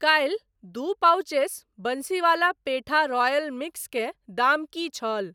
काल्हि दू pouches Bansiwala petha royal mix के दाम की छल ?